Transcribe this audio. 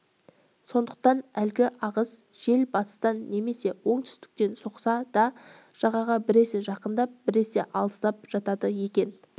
сондықтан әлгі ағыс жел батыстан немесе оңтүстіктен соқса да жағаға біресе жақындап біресе алыстап жатады екен